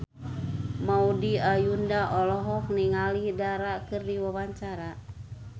Maudy Ayunda olohok ningali Dara keur diwawancara